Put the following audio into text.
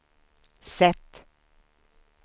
sätt